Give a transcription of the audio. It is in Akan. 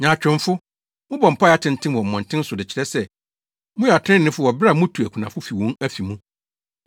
Nyaatwomfo! Mobɔ mpae atenten wɔ mmɔnten so de kyerɛ sɛ moyɛ atreneefo wɔ bere a mutu akunafo fi wɔn afi mu.